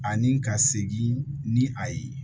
Ani ka segin ni a ye